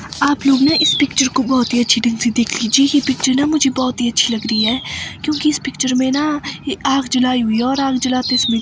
आपलोग न इस पिक्चर को बहोत ही अच्छी ढंग से देख लीजिए ये पिक्चर न मुझे बहोत ही अच्छी लग री है क्योंकि इस पिक्चर में न एक आग जलाई हुई है और आग जलाते समय--